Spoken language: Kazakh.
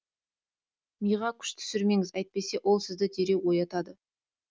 миға күш түсірмеңіз әйтпесе ол сізді дереу оятады